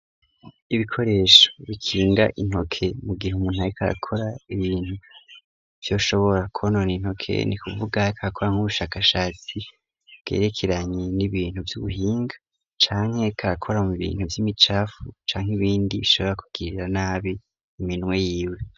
Ibikoresho bikinga intoke mu gihe umuntu ari karakora ibintu vyoshobora konona intoke ni kuvuga Ariko akora nk'ubushakashatsi bwerekeranye n'ibintu vy'ubuhinga canke Ariko arakora mu bintu vy'imicafu canke ibindi bishobora kugirira nabi iminwe yiwe.